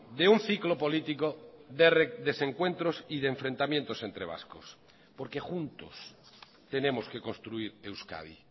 de un ciclo político de desencuentros y de enfrentamientos entre vascos porque juntos tenemos que construir euskadi